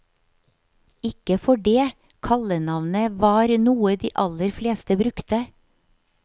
Ikke for det, kallenavnet varnoe de aller fleste brukte.